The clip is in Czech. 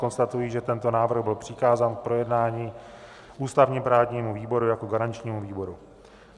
Konstatuji, že tento návrh byl přikázán k projednání ústavně-právnímu výboru jako garančnímu výboru.